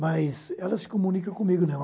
mas ela se comunica comigo não.